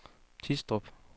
Tistrup